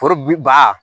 Foro ba